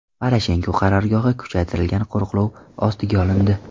Poroshenko qarorgohi kuchaytirilgan qo‘riqlov ostiga olindi.